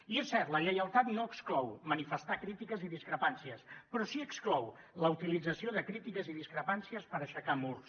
i és cert la lleialtat no exclou manifestar crítiques i discrepàncies però sí que exclou la utilització de crítiques i discrepàncies per aixecar murs